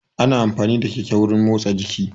Ana amfani da keke wurin motsa jiki